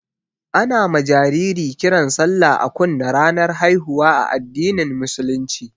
Ana ma jariri kiran sallah a kunne ranar haihuwa a addinin musulunci